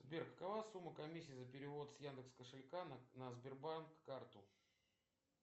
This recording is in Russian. сбер какова сумма комиссии за перевод с яндекс кошелька на сбербанк карту